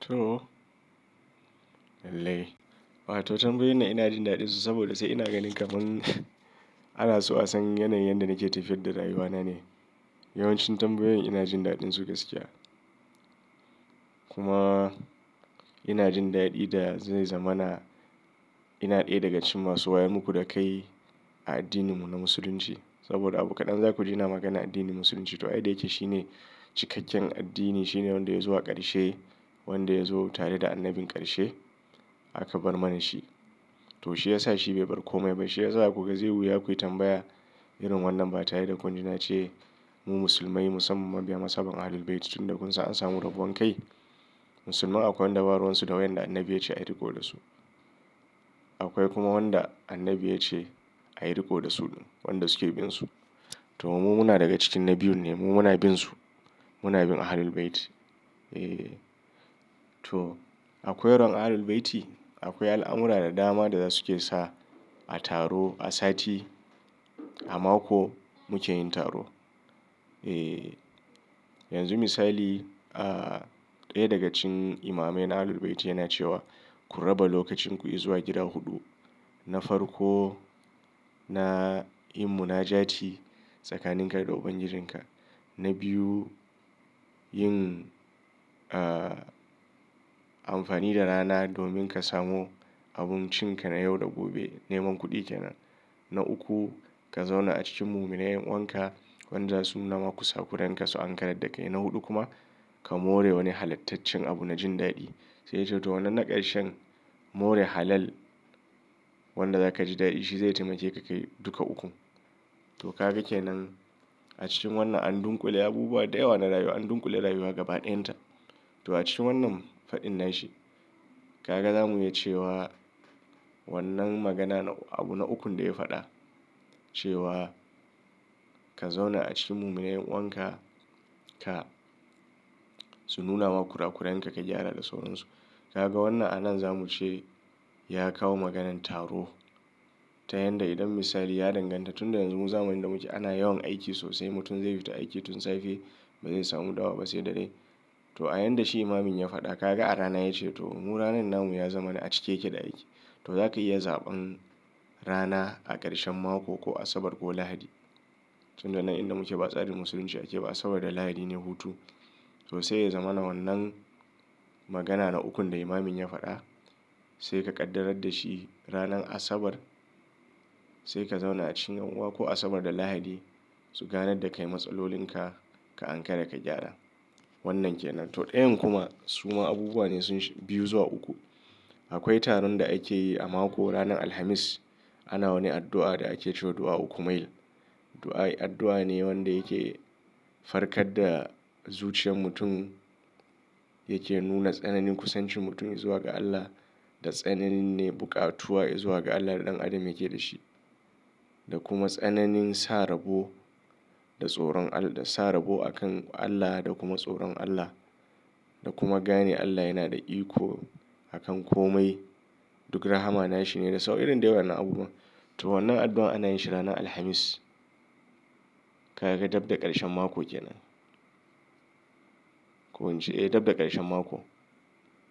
To, lallai. Wa to tambayoyin na ina jin daɗin su saboda sai ina ganin kafin ana so a san yanayin yadda nake tafiyar da rayuwana ne. Yawancin tambayoyin ina jin daɗin su gaskiya. Kuma ina jin daɗi da zai zama na ina ɗaya daga cikin masu wayam muku dakai a addininmu na Musulunci. Saboda abu kaɗan za ku ji ina maganar addinin Musulunci. To ai da yake shine cikakken addini, shine wanda ya zo a ƙarshe, wanda ya zo tare da annabin ƙarshe aka bar mana shi. To shi ya sa shi bai bar komai. Bai shi ya sa a kuka zai wuya akwai tambaya irin wannan ba tare da kun ji na ce mu Musulmai musamman mabiya mazhaban Ahlul Bayti tun da kun san an samu rabon kai. Musulmai akwai wayanda baruwansu su da wanda annabi ya ce a riƙo da su. Akwai kuma wanda annabi ya ce a yi riƙo da su wanda suke bin su. To mu muna daga cikin na biyun ne, mu muna bin su. Muna bin Ahlul Bayti. Eh. To akwai ran Ahlul Bayti, akwai al'amura da dama da za suke sa a taro, a sati, a mako muke yin taro. Eh, yanzu misali, ah, ɗaya daga cikin imamai na Ahlul Bayti yana cewa ku raba lokacin ku yi zuwa gida huɗu. Na farko na yin munajati tsakanin kai da Ubangijinka. Na biyu yin, ah, amfani da rana domin ka samu abun cin ka na yau da gobe, neman kuɗi kenan. Na uku ka zauna a cikin muminai yanuwanka wanda zasu nu na ma kusa, kuren ka su ankarar da kai. Na huɗu kuma ka more wani halattacin abu na jin daɗi. Sai dai to wannan na ƙarshen more halal wanda za ka ji daɗi shi zai taimake ka kai duka ukun. To ka ga ke nan a cikin wannan an dunƙule abubuwa da yawa na rayuwa, an dunƙule rayuwa gaba ɗayinta. To a cikin wannan fadin nashi ka ga zamu iya cewa wannan magana abu na ukun da ya faɗa cewa ka zauna a cikin muminai yan uwanka ka su nuna ma kurakuran ka ka gyara da sauransu. Ka ga wannan a nan za muce ya kawo maganan taro ta yanda idan misali ya danganta tun da yanzu mu zamuyi inda muke ana yawan aiki sosai mutum zai fita aiki tun safe ba zai samu dawa ba sai dare. To a yanda shi imamin ya faɗa ka ga a rana ya ce to mu ranan nan mu ya zamani a cike yake da aiki. To za ka iya zaɓan rana a ƙarshen mako ko Asabar ko Lahadi. Tun da nan inda muke ba tsarin Musulunci ake ba Asabar da Lahadi ne hutu. To sai ya zamana wannan magana na ukun da imamin ya faɗa sai ka ƙaddarar da shi ranan Asabar sai ka zauna a cikin yanuwa ko Asabar da Lahadi su ganar da kai matsalolin ka, ka ankara ka gyara. Wannan ke nan. To ɗayan kuma suma abubuwa ne sun biyu zuwa uku. Akwai taron da ake yi a mako ranan Alhamis. Ana wani addu'a da ake cewa addu'a ukumail. Addu'a ne wanda yake farkar da zuciyar mutum, yake nuna tsananin kusancin mutum zuwa ga Allah da tsananin ne buƙatuwa zuwa ga Allah da ɗan adam yake da shi. Da kuma tsananin sa rabo da tsoron Allah, da sa rabo a kan Allah da kuma tsoron Allah. Da kuma gane Allah yana da iko a kan kome duk rahama nashi ne da sau. Irin dai wayan nan abubuwan. To wannan addu'a ana yin shi ranan Alhamis. Ka ga dab da ƙarshen mako kenan. Ko in ce, eh dab da ƙarshen mako